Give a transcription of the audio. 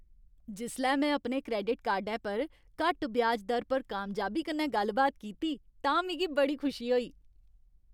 जिसलै में अपने क्रैडिट कार्डै पर घट्ट ब्याज दर पर कामयाबी कन्नै गल्ल बात कीती तां मिगी बड़ी खुशी होई।